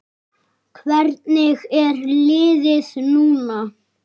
Hvernig er liðið núna?